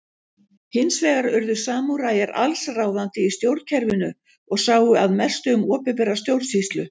Hins vegar urðu samúræjar alls ráðandi í stjórnkerfinu og sáu að mestu um opinbera stjórnsýslu.